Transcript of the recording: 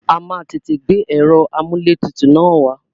A máa tètè gbé ẹ̀rọ amúlẹ̀tutù na wá.